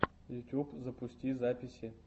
ютуб запусти записи